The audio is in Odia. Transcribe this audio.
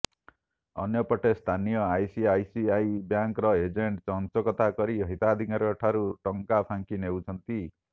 ଅନ୍ୟପଟେ ସ୍ଥାନୀୟ ଆଇସିଆଇସିଆଇ ବ୍ୟାଙ୍କର ଏଜେଣ୍ଟ ଚଞ୍ଚକତା କରି ହିତାଧିକାରୀଙ୍କ ଠାରୁ ଟଙ୍କା ଫାଙ୍କି ନେଉଛନ୍ତି